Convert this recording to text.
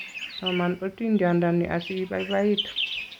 soman otindiondeni asi ibaibaitu